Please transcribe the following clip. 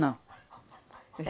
Não.